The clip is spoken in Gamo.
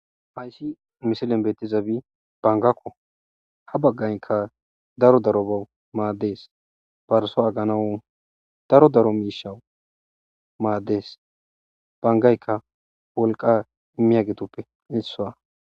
Haysi missilen betizabi bangako ha bangayka daro darobaw mades parso aganaw daro daro mishawu mades bangayka wolqa imiyagetupe isuwa.